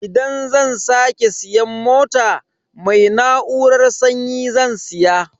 Idan zan sake siyan mota, mai na'urar sanyi zan siya.